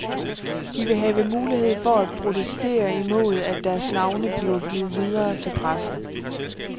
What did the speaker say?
De vil have mulighed for at protestere imod, at deres navne bliver givet videre til pressen.